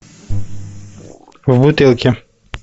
в бутылке